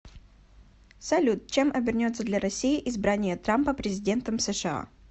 салют чем обернется для россии избрание трампа президентом сша